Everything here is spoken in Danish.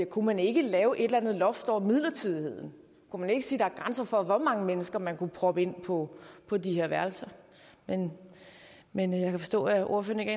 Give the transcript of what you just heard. kunne man ikke lave et eller andet loft over midlertidigheden kunne man ikke sige at der er grænser for hvor mange mennesker man kunne proppe ind på på de her værelser men men jeg kan forstå at ordføreren